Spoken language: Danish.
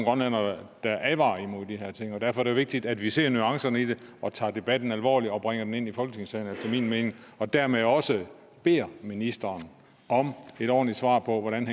grønlændere der advarer imod de her ting derfor er det vigtigt at vi ser nuancerne i det og tager debatten alvorligt og bringer den ind i folketingssalen efter min mening og dermed også beder ministeren om et ordentligt svar på hvordan